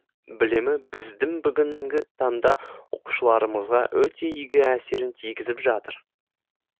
білімі біздің бүгінгі таңда оқушыларымызға өте игі әсерін тигізіп жатыр